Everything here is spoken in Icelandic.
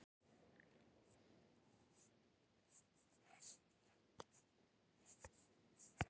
Í þeirra augum var jörðin grjót og samfélagið vél sem einhverjir yrðu að stjórna.